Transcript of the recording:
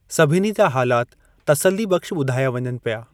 सभिनी जा हालात तस्सलीबख़्शु बुधाया वञनि पिया।